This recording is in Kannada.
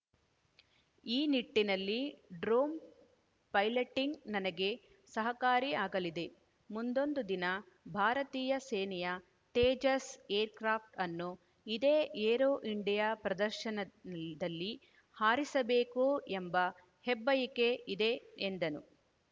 ಈ ನಿಟ್ಟಿನಲ್ಲಿ ಡ್ರೋನ್‌ ಪೈಲಟಿಂಗ್‌ ನನಗೆ ಸಹಕಾರಿ ಆಗಲಿದೆ ಮುಂದೊಂದು ದಿನ ಭಾರತೀಯ ಸೇನೆಯ ತೇಜಸ್‌ ಏರ್‌ಕ್ರಾಪ್ ಅನ್ನು ಇದೇ ಏರೋ ಇಂಡಿಯಾ ಪ್ರದರ್ಶನಲ್ಲಿ ಹಾರಿಸಬೇಕು ಎಂಬ ಹೆಬ್ಬಯಕೆ ಇದೆ ಎಂದನ್